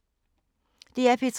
DR P3